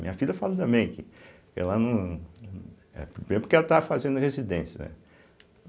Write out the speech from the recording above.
Minha filha fala também que ela não Primeiro porque ela estava fazendo residência, né?